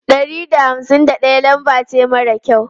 Ɗari da hamsin da ɗaya lambar ce mara kyau.